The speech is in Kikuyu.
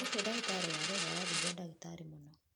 Ũcio dagĩtarĩ warehwo arathumbũra dagĩtarĩ mũno